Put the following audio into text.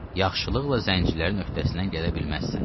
Yaxşılıqla zəncirlərin öhdəsindən gələ bilməzsən.